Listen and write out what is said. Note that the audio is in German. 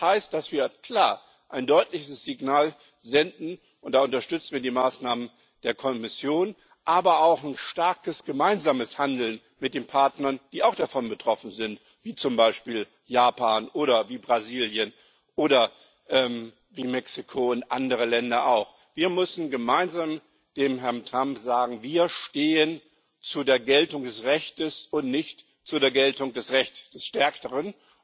Das heißt, dass wir ein deutliches Signal senden, und da unterstützen wir die Maßnahmen der Kommission, aber ebenso ein starkes gemeinsames Handeln mit den Partnern, die auch davon betroffen sind, wie zum Beispiel Japan, Brasilien, Mexiko und andere Länder. Wir müssen gemeinsam dem Herrn Trump sagen Wir stehen zu der Geltung des Rechts und nicht zur Geltung des Rechts des Stärkeren.